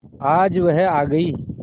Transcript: आज वह आ गई